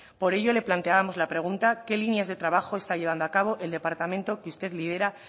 por ello le planteábamos la pregunta qué líneas de trabajo está llevando a cabo el departamento que usted lidera